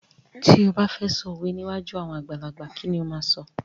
Ti ó ba fẹ sọ òwe níwájú àwọn àgbàlagbà, kí ni ó máa sọ?